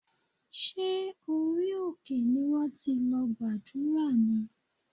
Ṣé orí òkè ni wọ́n ti lọ gbàdúrà ni?